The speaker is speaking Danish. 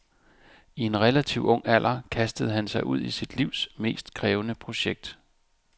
I en relativ ung alder kastede han sig ud i sit livs mest krævende projekt.